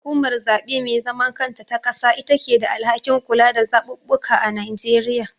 Hukumar zaɓe me zaman kanta ta ƙasa itake da alhakin kula da zaɓuɓɓuka a Nigeria.